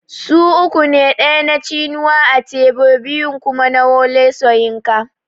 Su uku ne ɗaya na Chinua Achebe biyun kuma na Wole Soyinka